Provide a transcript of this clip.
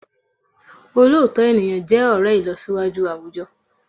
Òlóòtọ́ ènìyàn jẹ́ ọ̀rẹ́ ìlọsíwájú àwùjọ